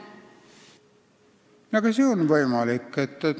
Aga see on võimalik.